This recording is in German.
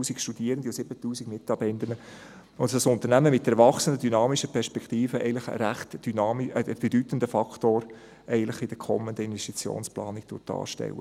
18 000 Studierende und 7000 Mitarbeitende – eigentlich einen recht bedeutenden Faktor in der kommenden Investitionsplanung darstellt.